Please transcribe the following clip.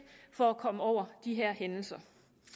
for at komme over de her hændelser